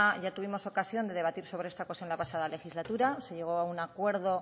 ya tuvimos ocasión de debatir sobre esta cuestión la pasada legislatura se llegó a un acuerdo